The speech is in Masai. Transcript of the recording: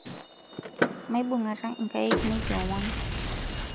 maibung'ata inkaek nekiomon